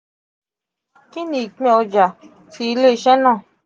kini ipin ọja ti ile-iṣẹ naa?